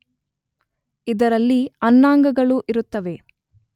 ಇದರಲ್ಲಿ ಅನ್ನಾಂಗಗಳು ಇರುತ್ತವೆ